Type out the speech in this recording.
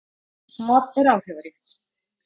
Það er áhrifaríkt.